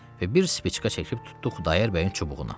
Və bir spiçka çəkib tutdu Xudayar bəyin çubuğuna.